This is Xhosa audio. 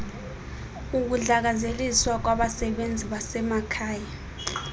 ukudlakazeliswa kwabasebenzi basemakhaya